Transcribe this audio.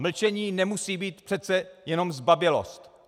Mlčení nemusí být přece jenom zbabělost.